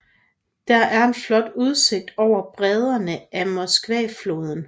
Der er en flot udsigt over bredderne af Moskvafloden